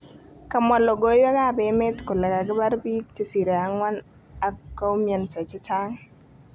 kamwa logoiwek ap emet kole kakipar piig chesire angwan ak koumianso chechang